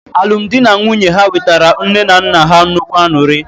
Alụmdi na nwunye ha wetara nne na nna ha nnukwu aṅụrị.